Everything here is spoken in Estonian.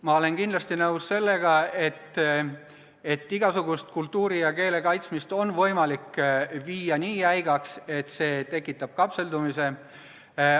Ma olen kindlasti nõus, et igasugust kultuuri ja keele kaitsmist on võimalik viia nii jäigaks, et see tekitab kapseldumise.